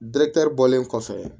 dekil bɔlen kɔfɛ